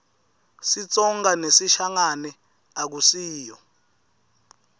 sitsonga nesishangane akusiyo